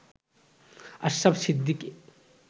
Ashraf Siddiqui